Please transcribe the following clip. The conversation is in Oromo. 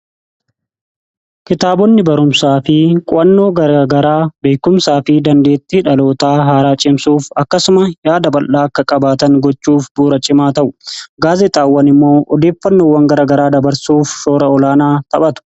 Kitaabonni barumsaa fi qu'annoo garagaraa beekumsaa fi dandeetti dhalootaa haaraa cimsuuf akkasuma yaada bal'aa akka qabaatan gochuuf buurachimaa ta'u gaasexaawwan immoo odeeffannoowwan garagaraa dabarsuuf shoora olaanaa taphatu.